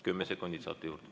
10 sekundit saate juurde.